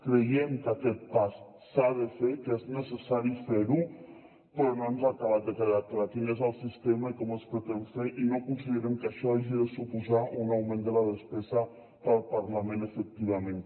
creiem que aquest pas s’ha de fer que és necessari fer lo però no ens ha acabat de quedar clar quin és el sistema i com es pretén fer i no considerem que això hagi de suposar un augment de la despesa per al parlament efectivament